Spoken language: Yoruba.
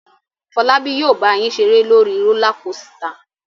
Fọlábí yóò bá yín ṣeré lórí rólá kosità.